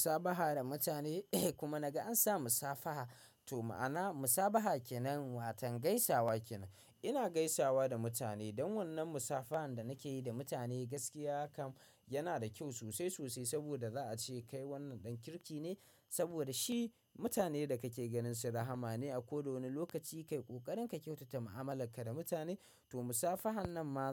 Musabaha da mutane kuma naga ansa musafaha to mana musabaha kenan watan gaisawa kenan. Ina gaisawa da mutane don wannan musafahan da nake yi da mutane gaskiya kam yana da kyau sosai sosai saboda za a ce kai wannan ɗan kirki ne saboda shi mutanen da kake ganin su rahama ne a kowane lokaci kai ƙoƙarin ka kyautata mu'amalarka da mutane to musafahan nan ma.